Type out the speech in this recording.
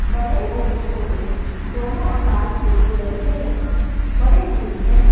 बड़े और छोटे दोनों आकार के गुलदस्ते यहां पड़े हुए हैं।